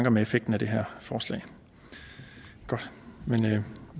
om effekten af det her forslag men vi